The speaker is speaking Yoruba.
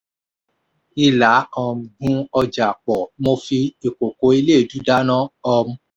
ilà um gùn ọjà pọ̀ mo fi ìkòkò eléèdú dáná. um